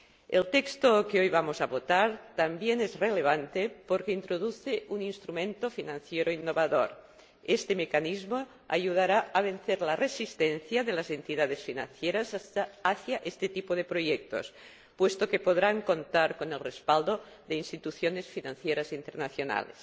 El texto que hoy vamos a votar también es relevante porque introduce un instrumento financiero innovador. Este mecanismo ayudará a vencer la resistencia de las entidades financieras hacia este tipo de proyectos, puesto que podrán contar con el respaldo de instituciones financieras internacionales.